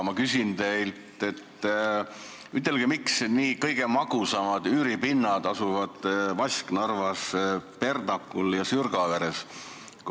Ma küsin teilt, miks kõige magusamad üüripinnad asuvad Vasknarvas, Perdakul ja Sürgaveres.